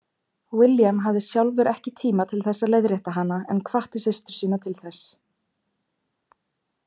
William hafði sjálfur ekki tíma til að leiðrétta hana en hvatti systur sína til þess.